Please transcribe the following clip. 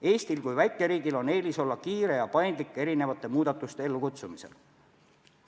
Eestil kui väikeriigil on eelis olla kiire ja paindlik erinevate muudatuste ellukutsumisel.